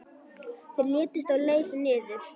Þeir létust á leið niður.